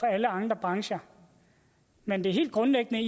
alle andre brancher men det helt grundlæggende